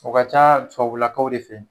O ka ca tubabulaka de fe yen.